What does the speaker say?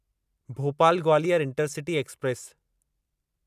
Bhopal Gwalior intercity express